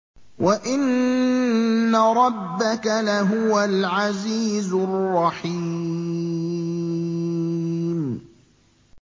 وَإِنَّ رَبَّكَ لَهُوَ الْعَزِيزُ الرَّحِيمُ